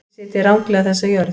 Þið sitjið ranglega þessa jörð.